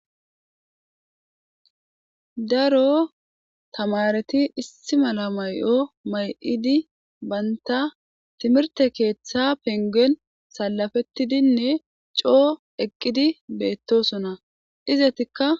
Daro tamaareti issi mala may7o may7idi bantta timirtte keeththa penggen salafettidinne coo eqqidi beettosona izetikka.